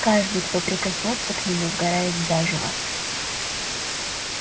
каждый кто прикоснётся к нему сгорает заживо